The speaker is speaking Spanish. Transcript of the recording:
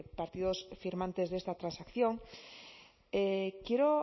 partidos firmantes de esta transacción quiero